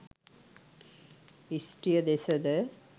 ස්ත්‍රිය දෙස ද